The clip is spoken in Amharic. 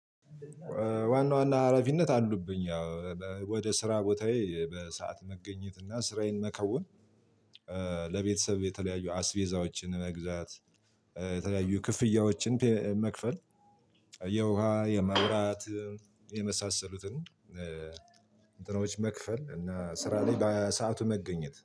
ዋና ዋና ሀላፊነት አሉብኝ ያው ወደ ስራ ቦታዬ በሰአት መገኘት እና ስራዬን መከወን። ለቤተሰብ የተለያዩ አስቬዛዎችን መግዛት። የተለያዩ ክፍያዎችን መክፈል። የውሃ የመብራት የመሳሰሉትን። እንትኖች መክፈል እና ስራ ላይ በሰአቱ መገኘት